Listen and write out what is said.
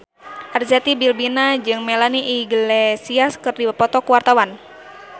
Arzetti Bilbina jeung Melanie Iglesias keur dipoto ku wartawan